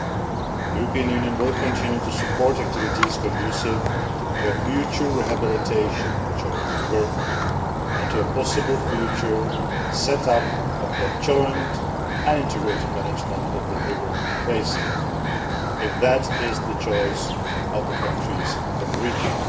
The European Union will continue to support activities conducive to a future rehabilitation of the Jordan River and to the possible future establishment of joint and integrated management of the river basin, if that is the choice of the countries in the region.